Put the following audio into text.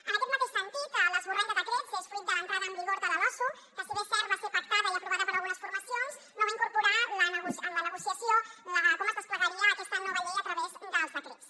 en aquest mateix sentit l’esborrany de decret és fruit de l’entrada en vigor de la losu que si bé és cert que va ser pactada i aprovada per algunes formacions no va incorporar en la negociació com es desplegaria aquesta nova llei a través dels decrets